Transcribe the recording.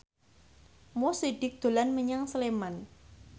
Mo Sidik dolan menyang Sleman